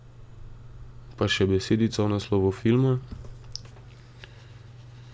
Pa še besedica o naslovu filma.